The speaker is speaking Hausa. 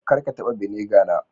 Kar ka taba vinegar na.